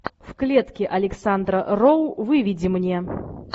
в клетке александра роу выведи мне